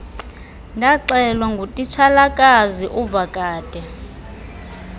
ndaxelwa ngutitshalakazi uvakade